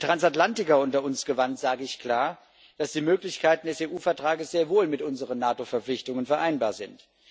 An die Transatlantiker unter uns gewandt, sage ich klar, dass die Möglichkeiten des EU Vertrags sehr wohl mit unseren NATO Verpflichtungen vereinbar sind.